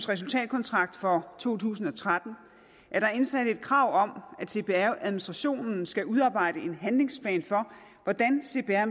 resultatkontrakt for to tusind og tretten er der indsat et krav om at cpr administrationen skal udarbejde en handlingsplan for hvordan cpr